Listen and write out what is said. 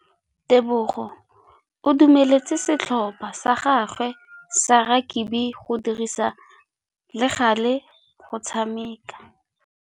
Tebogô o dumeletse setlhopha sa gagwe sa rakabi go dirisa le galê go tshameka.